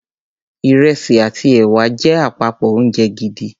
Ìrẹsì àti ẹ̀wà jẹ́ àpapọ̀ oúnjẹ gidi.